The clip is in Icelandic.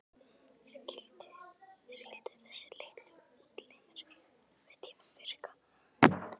Skyldu þessir litlu útlimir einhverntíma virka?